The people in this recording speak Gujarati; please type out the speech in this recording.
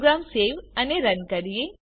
પ્રોગ્રામ સેવ અને રન કરીએ